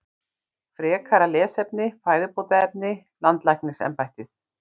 Frekara lesefni: Fæðubótarefni- Landlæknisembættið.